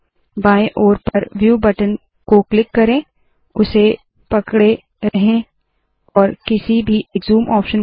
बाएं ओर पर व्यू बटन को क्लिक करे उसे पकडे रहे है और किसी भी एक ज़ूम ऑप्शन को चुने